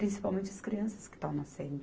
Principalmente as crianças que estão nascendo.